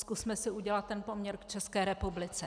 Zkusme si udělat ten poměr v České republice.